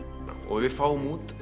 og við fáum út